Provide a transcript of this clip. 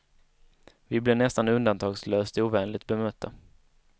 Vi blir nästan undantagslöst ovänligt bemötta.